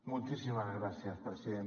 moltíssimes gràcies president